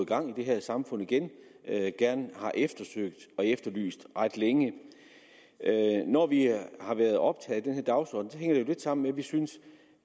gang i det her samfund igen har eftersøgt og efterlyst ret længe når vi har været optaget af den her dagsorden hænger det jo lidt sammen med at vi synes